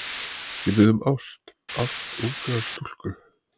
Ég bið um ást, ást ungrar stúlku.